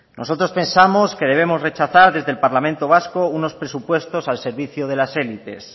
nosotros pensamos que debemos rechazar desde el parlamento vasco unos presupuestos al servicio de las élites